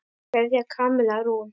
Kveðja, Kamilla Rún.